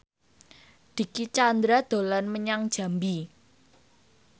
Dicky Chandra dolan menyang Jambi